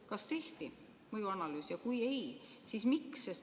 Kas tehti mõjuanalüüs, ja kui ei, siis miks?